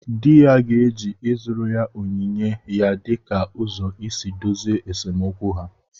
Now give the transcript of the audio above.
Di ya ga-eji ịzụrụ onyinye ya dịka ụzọ isi dozie esemokwu ha